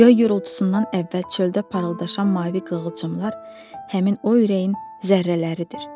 Göy gurultusundan əvvəl çöldə parıldaşayan mavi qığılcımlar həmin o ürəyin zərrələridir.